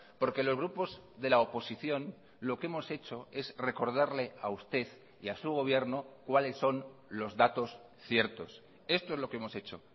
porque los grupos de la oposición lo que hemos hecho es recordarle a usted y a su gobierno cuáles son los datos ciertos esto es lo que hemos hecho